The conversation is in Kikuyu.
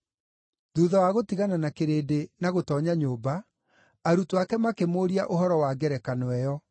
Thuutha wa gũtigana na kĩrĩndĩ na gũtoonya nyũmba, arutwo ake makĩmũũria ũhoro wa ngerekano ĩyo.